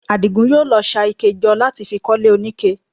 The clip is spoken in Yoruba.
Àdìgún yóò lọ ṣa ike jọ láti fi kọ́lé oníke